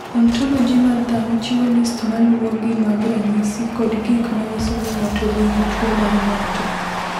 Ontoloji mar dhano chiwo list ma luwogi mag ranyisi kod gik ma nyiso ni ng’ato nigi tuwo mar ng’ato.